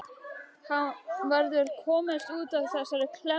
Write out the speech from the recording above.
Hann verður að komast út úr þessari klemmu.